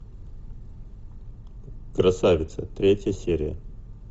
красавица третья серия